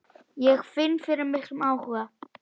Ég finn fyrir miklum áhuga.